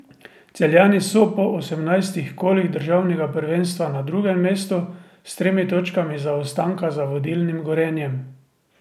Celjani so po osemnajstih kolih državnega prvenstva na drugem mestu, s tremi točkami zaostanka za vodilnim Gorenjem.